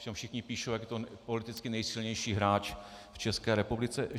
Ovšem všichni píší, jak je to politicky nejsilnější hráč v České republice.